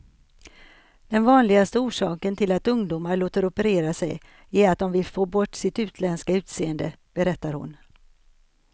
Den vanligaste orsaken till att ungdomar låter operera sig är att de vill få bort sitt utländska utseende, berättar hon.